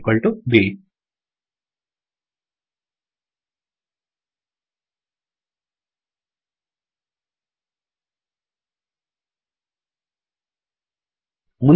note equal to B